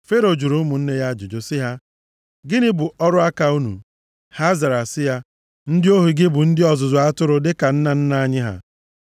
Fero jụrụ ụmụnne ya ajụjụ sị ha, “Gịnị bụ ọrụ aka unu?” Ha zara sị ya, “Ndị ohu gị bụ ndị ọzụzụ atụrụ dịka nna nna anyị ha.”